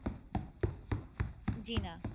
জি না।